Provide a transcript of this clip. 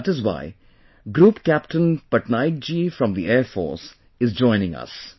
That is why Group Captain Patnaik ji from the Air Force is joining us